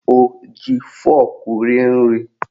O ji fọrkụ rie nri?